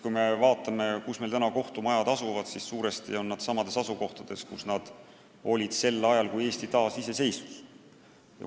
Kui me vaatame, kus meil kohtumajad asuvad, siis näeme, et suures osas on need samades kohtades, kus nad olid sel ajal, kui Eesti taasiseseisvus.